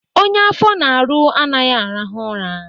Onye afọ na-arụ anaghị arahụ ụra.